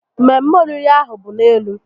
Mmemme oriri ahụ bụ n'elu